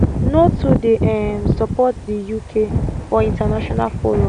no too dey um support di uk for international forums